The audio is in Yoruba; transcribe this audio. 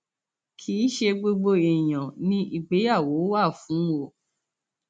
kì í ṣe gbogbo èèyàn ni ìgbéyàwó wà fún o